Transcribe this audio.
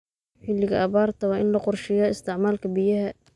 Xilliga abaarta waa in la qorsheeyaa isticmaalka biyaha.